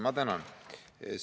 Ma tänan!